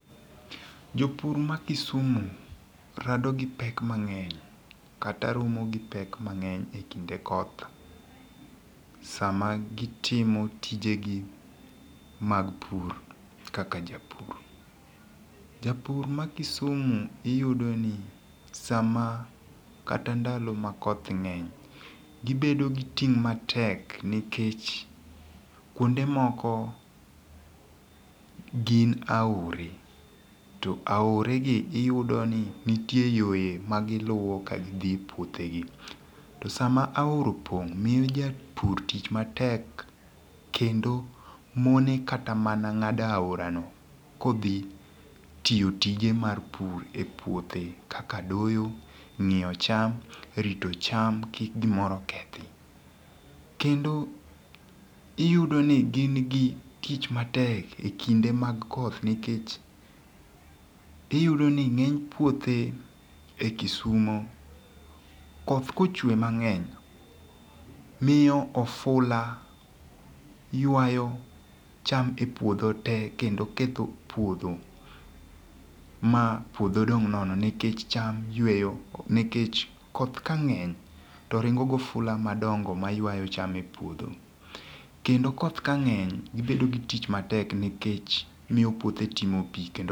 Jopur ma Kisumu rado gi pek mang'eny kata romo gi pek mang'eny ekinde koth sama gitimo tijegi mag pur kaka japur. Japur ma Kisumu iyudoni sama kata ndalo makoth ng'eny, gibedo giting' matek nikech kuonde moko gin aore to aoregi iyudo ni nitie yore magiluwo kagidhi e puothegi. To sama aora opong' miyo japur tich matek kendo mone kata mana ng'ado aorano kodhi tiyo tije mar pur epuothe kaka doyo, ng'iyo cham, rito cham kik gimoro kethi. Kendo iyudoni gin gi tich matek ekinde mag koth nikech iyudo ni ng'eny puothe e Kisumo, koth kochwe mang'eny miyo ofula ywayo cham epuodho tee kendo ketho puodho ma puodho dong' nono nikech cham yweyo nikech koth kang'eny toringo gofula madongo maywayo cham epuodho. Kendo koth kang'eny ibedo gitich matek nikech miyo puothe timo pii kendo...